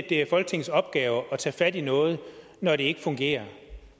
det er folketingets opgave at tage fat i noget når det ikke fungerer